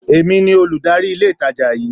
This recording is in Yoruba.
Èmi ní Olùdarí ilé ìtajà yí